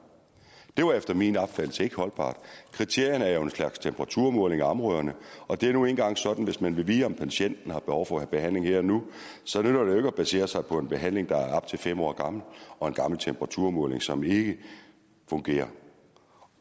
det var efter min opfattelse ikke holdbart kriterierne er jo en slags temperaturmålinger af områderne og det er nu engang sådan at hvis man vil vide om patienten har behov for behandling her og nu så nytter det jo ikke at basere sig på en behandling der er op til fem år gammel og en gammel temperaturmåling som ikke fungerer